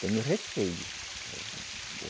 Tenho receio.